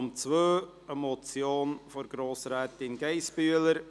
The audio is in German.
Es handelt sich um eine Motion von Grossrätin Geissbühler: